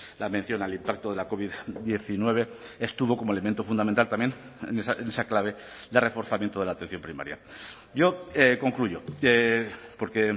la mención al impacto de la covid diecinueve estuvo como elemento fundamental también en esa clave de reforzamiento de la atención primaria yo concluyo porque